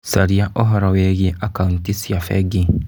Caria ũhoro wĩgiĩ akauti cia bengi.